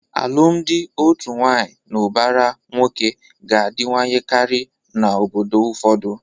Alụmalụ otu nwaanyị na ụbara nwoke ga-adịwanyekarị n'obodo ụfọdụ.